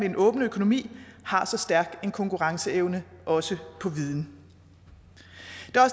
en åben økonomi har så stærk en konkurrenceevne også på viden